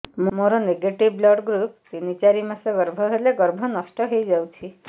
ମୋର negative blood group ତିନ ଚାରି ମାସ ଗର୍ଭ ହେଲେ ଗର୍ଭ ନଷ୍ଟ ହେଇଯାଉଛି